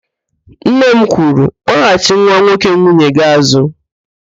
Nne m kwuru, "kpọghachị nwa nwoke nwunye gị àzụ́"!